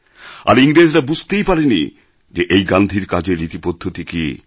আর ইংরেজরা বুঝতেই পারে নি যে এই গান্ধীর কাজের রীতি পদ্ধতি কী